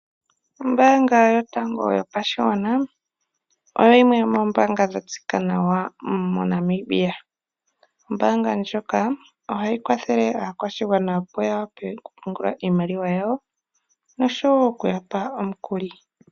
Ombaanga yotango yopashigwana oyo yimwe yomombaanga dhatseyika nawa moNamibia. Ombaanga ndjika ohayi kwathele aakwashigwana opo yawape okupumgula iimaliwa yawo nosho woo okuyapa omikuli.